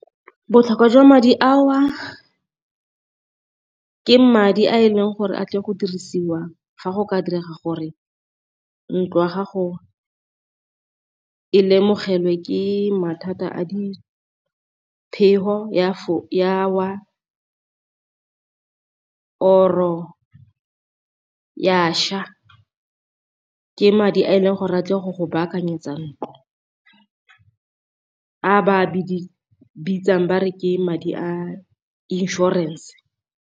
Botlhokwa jwa madi ao ke madi a e leng gore a tle go dirisiwa fa go ka direga gore ntlo ya gago e lemogelwe ke mathata a diphefi ya wa or-o ya ša, ke madi a e leng gore batle go go baakanyetsa ntlo a ba bitsang ba re ke madi a insurance.